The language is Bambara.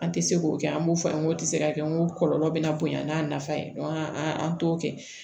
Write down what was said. An tɛ se k'o kɛ an b'o fɔ an ye k'o tɛ se ka kɛ n ko kɔlɔlɔ bɛ na bonya n'a nafa an t'o kɛ